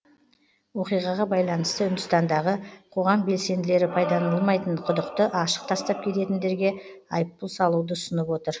оқиғаға байланысты үндістандағы қоғам белсенділері пайдаланылмайтын құдықты ашық тастап кететіндерге айыппұл салуды ұсынып отыр